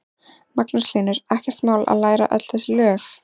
Magnús Hlynur: Ekkert mál að læra öll þessi lög?